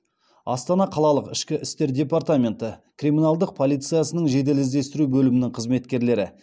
астана қалалық ішкі істер департаменті криминалдық полициясының жедел іздестіру бөлімінің қызметкерлері